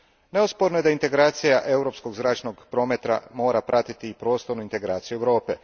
Neosporno je da integracija europskog zračnog prometa mora pratiti prostornu integraciju Europe.